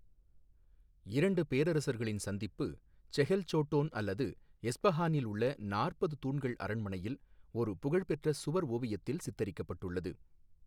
இரண்டு பேரரசர்களின் சந்திப்பு செஹெல் சோட்டோன் அல்லது எஸ்பஹானில் உள்ள நாற்பது தூண்கள் அரண்மனையில் ஒரு புகழ்பெற்ற சுவர் ஓவியத்தில் சித்தரிக்கப்பட்டுள்ளது.